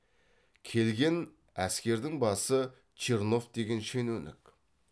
келген әскердің басы чернов деген шенеунік